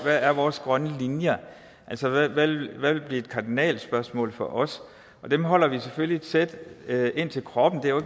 hvad vores grønne linjer er altså hvad hvad der vil blive et kardinalspørgsmål for os dem holder vi selvfølgelig tæt ind til kroppen det er jo